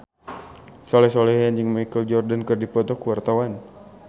Soleh Solihun jeung Michael Jordan keur dipoto ku wartawan